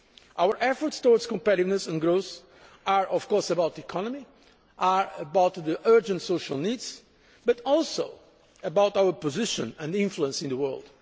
Our efforts towards competitiveness and growth are, of course, about the economy, about urgent social needs, but also about our position and influence in the world